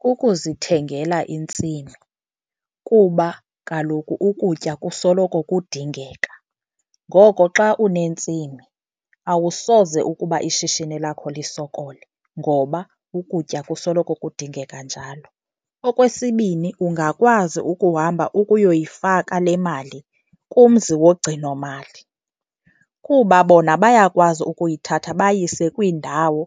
Kukuzithengela intsimi kuba kaloku ukutya kusoloko kudingeka, ngoko xa unentsimi awusoze ukuba ishishini lakho lisokole ngoba ukutya kusoloko kudingeka njalo. Okwesibini, ungakwazi ukuhamba ukuyoyifaka le mali kumzi wogcinomali kuba bona bayakwazi ukuyithatha bayise kwiindawo